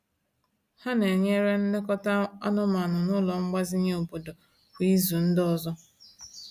Ha na-enyere nlekọta anụmanụ n’ụlọ mgbazinye obodo kwa ịzu ndi ọzọ.